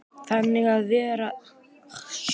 Þannig að það verður alltaf.